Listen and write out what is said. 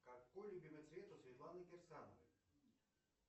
какой любимый цвет у светланы кирсановой